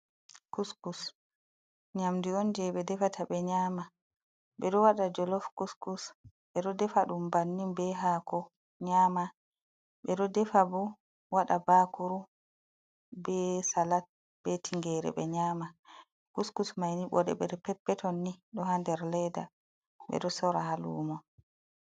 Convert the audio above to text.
Kuskus nyamdu on jei ɓe defata, ɓe nyaama. Ɓe ɗo wada jolof kuskus, ɓe ɗo defa ɗum bannin be haako nyama, ɓe ɗo defa bo waɗa baakuru, be salat, be tingere ɓe nyama. Kuskus mai ni ɓoɗe- ɓoɗe peppeton ni ɗon haa nder ledda bedo sora haa lumo.